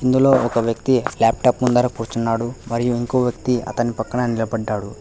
ఇందులో ఒక వ్యక్తి లాప్టాప్ ముందర కూర్చున్నాడు మరియు ఇంకో వ్యక్తి అతని పక్కన నిలపడ్డాడు.